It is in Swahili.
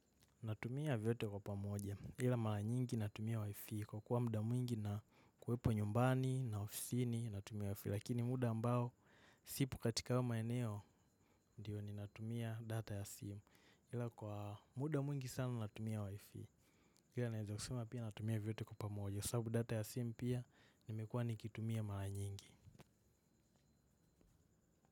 Natumia vyote kwa pamoja, ila mara nyingi natumia wifi kwa kuwa muda mwingi na kuwepo nyumbani na ofisini natumia wifi. Lakini muda ambao, sipo katika hayo maeneo, ndiyo ninatumia data ya simu. Ila kwa muda mwingi sana natumia wifi, ila naeza kusema pia natumia vyote kwa pamoja. Kwa sababu data ya simu pia, nimekuwa nikitumia mara nyingi.